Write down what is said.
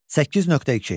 8.2.